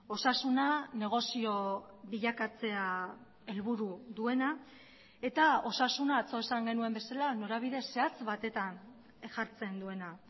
osasuna negozio bilakatzea helburu duena eta osasuna atzo esan genuen bezala norabide zehatz batetan jartzen duena